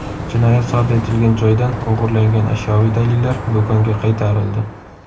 Jinoyat sodir etilgan joydan o‘g‘irlangan ashyoviy dalillar do‘konga qaytarildi.